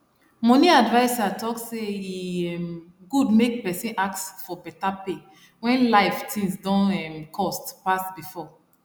money adviser talk say e um good make person ask for better pay when life things don um cost pass before